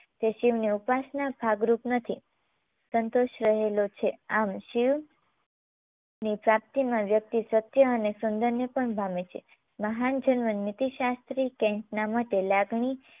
તે શિવને અવકાશના ભાગ રૂપ નથી સંતોષ રહેલો છે આમ શિવ ની પ્રાપ્તીમાં વ્યક્તિ સત્ય અને સુંદરને પણ પામે છે. મહાન જર્મન નીતિશાસ્ત્રી કૅન્ટના મતે લાગણી